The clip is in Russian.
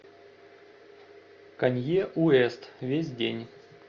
канье уэст весь день